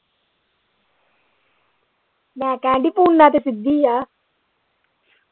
ਮੈਂ ਕਹਿਣ ਦੀ ਪੂਨਾ ਤੇ ਸਿੱਧੀ ਆ